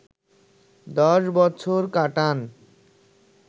১০ বছর কাটান